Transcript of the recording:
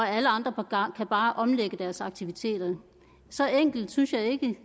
alle andre kan bare omlægge deres aktiviteter så enkelt synes jeg ikke